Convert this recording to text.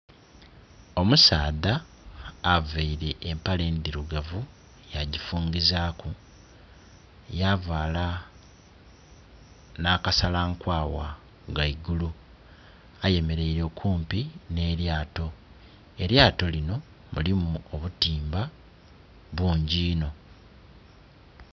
Omusaadha aveire empale endhirugavu ya gifungizaku yavala na ka salankwawa ghaigulu, ayemereire okumpi ne lyato. Elyato lino mulimu obutimba bungi iinno.